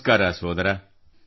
ನಮಸ್ಕಾರ ಸೋದರ